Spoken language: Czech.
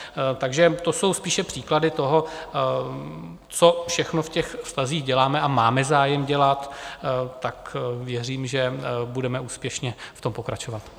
Takže to jsou spíše příklady toho, co všechno v těch vztazích děláme a máme zájem dělat, tak věřím, že budeme úspěšně v tom pokračovat.